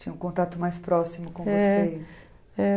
Tinha um contato mais próximo com vocês.